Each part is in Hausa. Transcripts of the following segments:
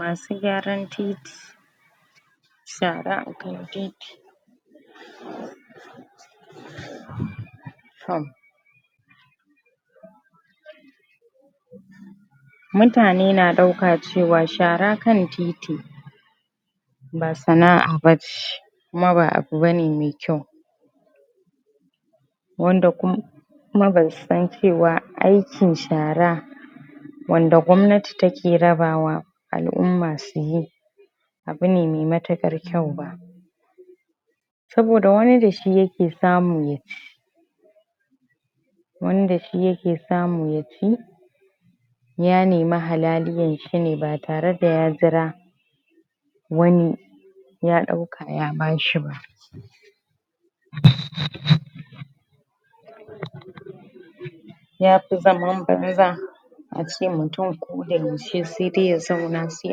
Masu gyaran titi shara akan titi???? mutane na ɗauka cewa, shara kan titi ba sana'a bace kuma ba abu bane me kyau wanda kum kuma basu san cewa aikin shara wanda gwamnati take rabawa al'umma suyi abune me matuƙar kyau ba saboda wani dashi yake samu yaci wani da shi yake samu yaci ya nemi halaliyan shine batare da ya jira wani ya ɗauka, ya bashi ba? yafi zaman banza ace mutum koda yaushe sai dai ya zauna sai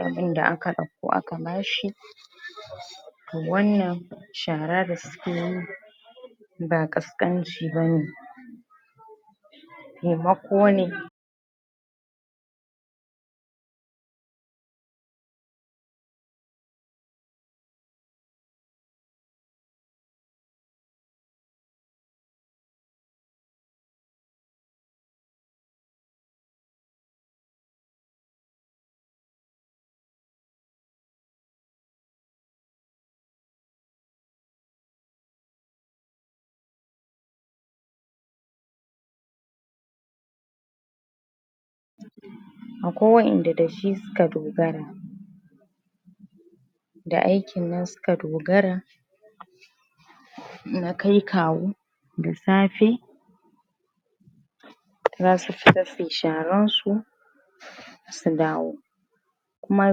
abinda aka ɗauko aka bashi to wannan shara da sukeyi ba ƙasƙanci bane temako ne akwai waƴanda dashi suka dogara da aikin nan suka dogara na kai kawo da safe zasu fita suyi sharan su su dawo kuma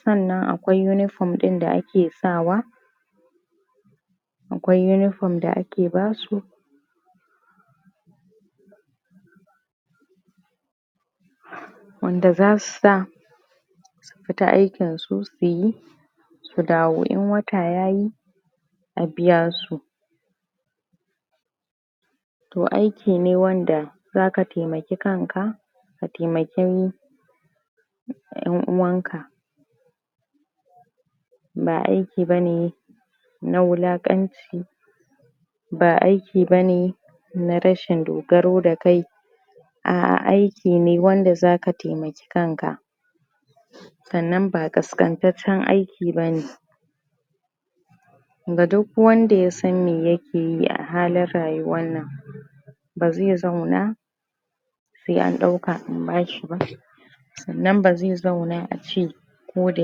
sannan akwai unifam ɗin da ake sawa akwai unifam da ake basu wanda zasu sa su fita aikin nsu, suyi su dawo.In wata yayi a biya su to aiki ne wanda zaka temaki kanka ka temaki ƴan uwanka ba aiki bane na wulaƙanci ba aiki bane na rashin dogaro da kai a'a aiki ne wanda zaka temaki kanka sannan ba ƙasƙantaccen aiki bane ga duk wanda yasan me yakeyi a halin rayuwar nan ba zai zauna se an ɗauka an bashi ba sannan bazai zauna ace koda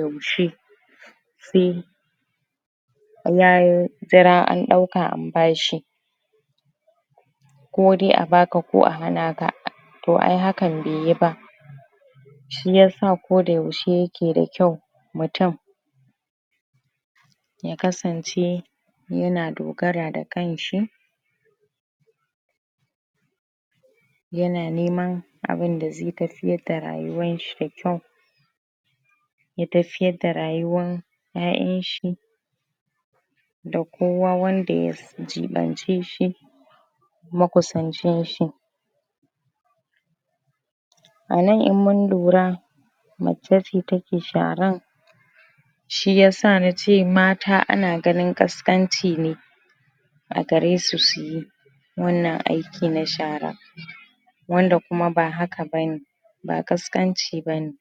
yaushe se yayi jira an ɗauka an bashi ko dai a baka ko a hana ka to ai hakan beyi ba shiyasa koda yaushe yake dakyau mutum ya kasance yana dogara da kanshi yana neman abinda zai tafiyar da rayuwanshi da kyau ya tafiyar da rayuwan ƴaƴanshi da kowa wanda ya jiɓance shi makusancin shi anan in mun lura mace ce take sharan shiyasa nace mata ana ganin ƙasƙanci ne a garesu suyi wannan aiki na shara wanda kuma ba haka bane ba ƙasƙanci bane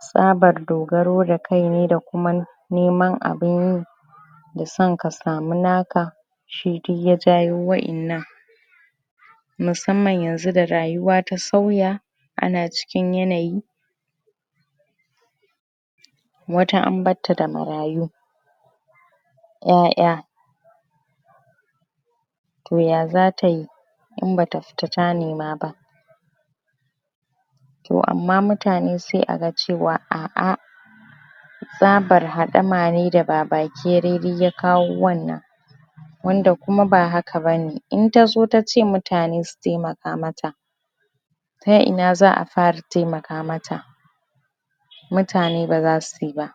tsabar dogaro da kai ne da kuma neman abin yi da son ka samu naka shi duk ya jawo waƴannan musamman yanzu da rayuwa ta sauya ana cikin yanayi wata an barta da marayu ƴaƴa to ya zatayi in bata fita ta nema ba to amma mutane se aga cewa a'a tsabar haɗama ne da babakere duk ya kawo wannan wanda kuma ba haka bane.In tazo tace mutane su temaka mata ta ina za a fara temaka mata mutane baza suyi ba